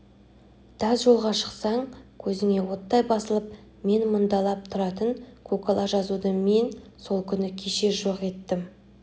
тас жолға шықсаң көзіңе оттай басылып мен мұндалап тұратын көкала жазуды мен сол күні кешке-жоқ еттім